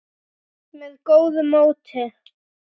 með góðu móti.